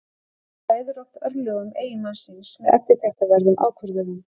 Hún ræður oft örlögum eiginmanns síns með eftirtektarverðum ákvörðunum.